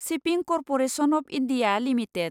shipping corporation of India limited